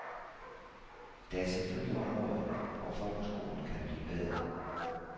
Der er selvfølgelig områder, hvor folkeskolen kan blive bedre.